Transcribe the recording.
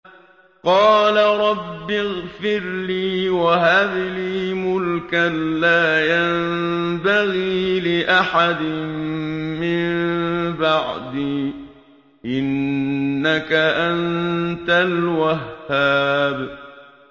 قَالَ رَبِّ اغْفِرْ لِي وَهَبْ لِي مُلْكًا لَّا يَنبَغِي لِأَحَدٍ مِّن بَعْدِي ۖ إِنَّكَ أَنتَ الْوَهَّابُ